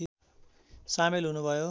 सामेल हुनुभयो